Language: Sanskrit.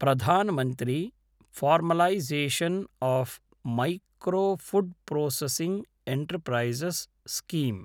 Pradhan Mantri formalisation of micro food processing enterprises scheme